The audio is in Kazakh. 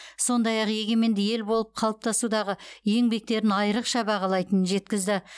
сондай ақ егеменді ел болып қалыптасудағы еңбектерін айрықша бағалайтынын жеткізді